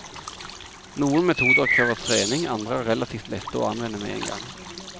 Noen metoder krever trening, andre er relativt lette å anvende med en gang.